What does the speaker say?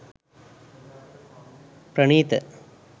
pranitha